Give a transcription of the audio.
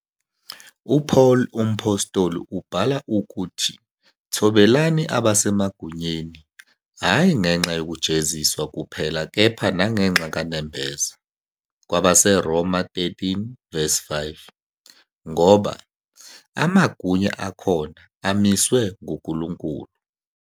UPaul Umphostoli ubhala ukuthi "thobelani abasemagunyeni, hhayi ngenxa yokujeziswa kuphela kepha nangenxa kanembeza", KwabaseRoma 13- 5, ngoba "amagunya akhona amiswe nguNkulunkulu."